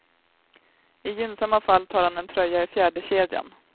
I gynnsamma fall tar han en tröja i fjärdekedjan.